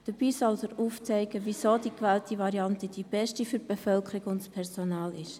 Dabei soll aufgezeigt werden, weshalb die gewählte Variante die beste für die Bevölkerung und das Personal ist.